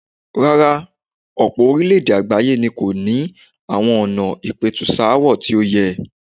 Rárá, ọ̀pọ̀ orílẹ̀-èdè àgbáyé ni kò níi ní àwọn ìlànà ìpẹ̀tùsááwọ̀ tí ó yẹ.